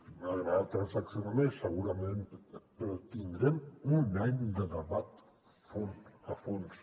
ens hagués agradat transaccionar més segurament però tindrem un any de debat a fons a fons